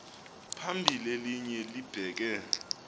phambili elinye libheke